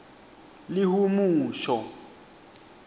lihumusho